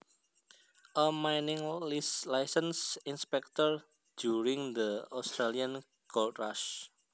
A mining license inspector during the Australian gold rush